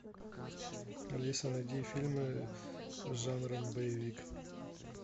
алиса найди фильмы с жанром боевик